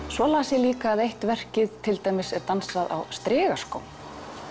svo las ég líka að eitt verkið er dansað á strigaskóm